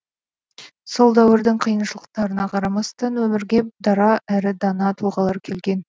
сол дәуірдің қиыншылықтарына қарамастан өмірге дара әрі дана тұлғалар келген